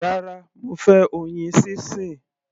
Rárá, mo fẹ́ oyin sísìn.